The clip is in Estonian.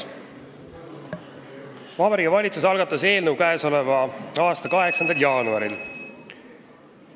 Vabariigi Valitsus algatas eelnõu k.a 8. jaanuaril.